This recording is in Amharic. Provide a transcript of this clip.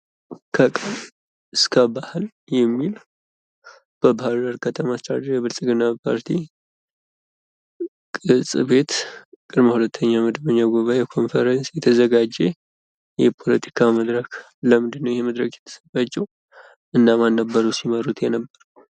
ከቃል እስከ ባህል የሚል በባህር ዳር ከተማ አስተዳደር የብልጽግና ፓርቲ ቅ/ጽ/ቤት ቅድመ ሁለተኛ መደበኛ ጉባኤ ኮንፈረስ የተዘጋጀ የፖለቲካ መድረክ ለምንድነው ይሄ መድረክ የተዘጋጀው? እነማን ነበሩ ሲመሩት የነበር?